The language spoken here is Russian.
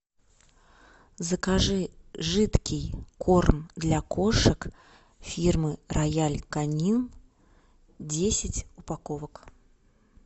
закажи жидкий корм для кошек фирмы роял канин десять упаковок